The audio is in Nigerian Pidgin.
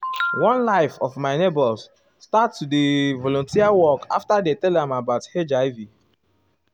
one like of my neighbors start do volunteer work after dey tell am about hiv.